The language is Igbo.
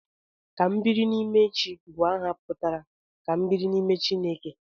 Kambirinimechi bụ aha pụtara 'Ka m biri n'ime Chineke'